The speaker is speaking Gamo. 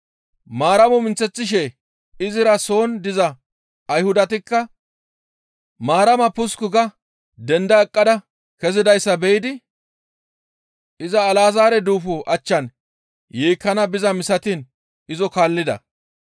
Maaramo minththeththishe izira soon diza Ayhudatikka Maarama pusukku ga denda eqqada kezidayssa be7idi iza Alazaare duufo achchan yeekkana bizaa misatiin izo kaallida.